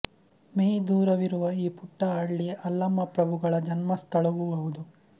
me ದೂರವಿರುವ ಈ ಪುಟ್ಟ ಹಳ್ಳಿ ಆಲ್ಲಮಪ್ರಭುಗಳ ಜನ್ಮಸ್ಥಳವೂ ಹೌದು